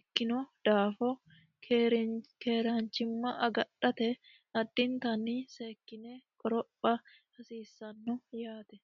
ikkino daafo keeraanchimma agadhate addintanni seekkine qoropha hasiissanno yaate